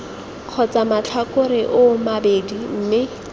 kgotsa matlhakore oo mabedi mme